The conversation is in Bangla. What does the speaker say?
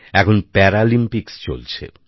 এখন প্যারালিম্পিকস চলছে